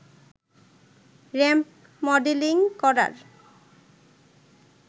ramp modelling করার